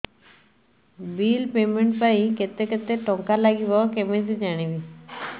bill payment ପାଇଁ କେତେ କେତେ ଟଙ୍କା ଲାଗିବ କେମିତି ଜାଣିବି